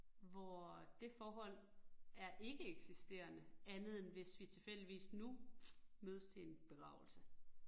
Hvor øh det forhold er ikke eksisterende, andet end hvis vi tilfældigvis nu mødes til en begravelse